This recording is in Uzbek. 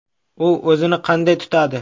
U o‘zini qanday tutadi?